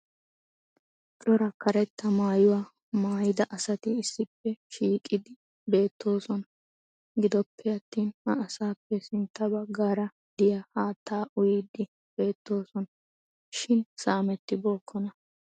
Cora karetta maayuwaa maayda asati issippe shiiqidi beettoosona. Giddoppe attin ha asaappe sintta bagaara diya haattaa uyiidi beetoosona. Shin saamettibookkona.